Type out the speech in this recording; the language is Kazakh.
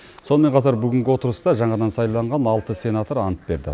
сонымен қатар бүгінгі отырыста жаңадан сайланған алты сенатор ант берді